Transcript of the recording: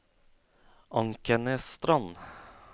Ankenesstrand